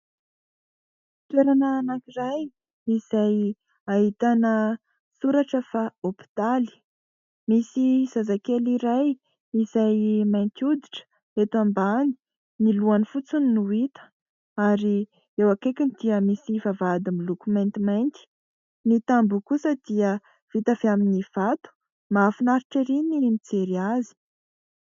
Toerana anankiray, izay ahitana soratra fa : "Hopitaly". Misy zazakely iray, izay mainty oditra eto ambany ; ny lohany fotsiny no hita. Ary eo akaikiny dia misy vavahady miloko maintimainty. Ny tamboho kosa dia vita avy amin'ny vato. Mahafinaritra ery ny mijery azy !